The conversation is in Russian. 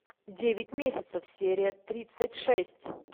девять месяцев серия тридцать шесть